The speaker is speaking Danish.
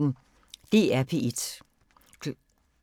DR P1